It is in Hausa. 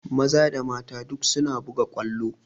Maza da mata duk suna buga ƙwallo